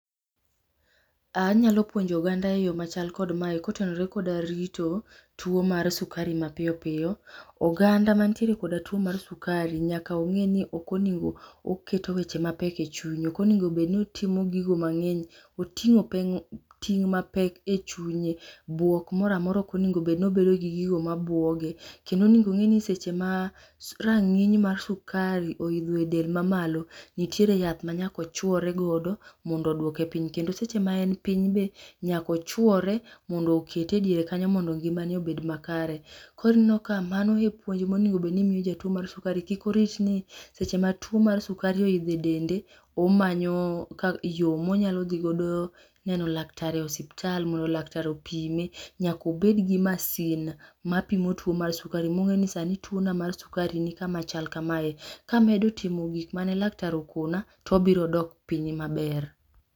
Anyalo puonjo oganda eyoo machal kod ma kotenore kod rito tuo mar sukari mapiyo piyo. Oganda mantiere koda tuo mar sukari nyaka ongeni ok onego oketo weche mapek e chunye, ok onego obed ni otimo gigo mangeny, otingo ting mapek e chunye, buok moro amora ok onego obedo gi gigo mabuoge. Kendo onego obedni seche ma rang'iny mar sukari oidho e del mamalo nitiere yath ma nyaka ochuore godo mondo oduoke piny kendo seche maen piny be nyaka ochuore mondo okete e diere kanyo mondo ngimane obed makare. Koro ineno ka mano e puonj monego obed ni imiyo jatuo mar sukari, kik orit ni seche ma tuo mar sukari oidho e dende omanyo ,yoo monyalo dhi godo neno lakatar e osiptal mondo laktar opime. Nyaka obed gi masin mapimo tuo mar sukari mongeni sani tuo na mar sukari nikama chal kamae. Kamedo timo gik mane laktar okona to obiro dok piny maber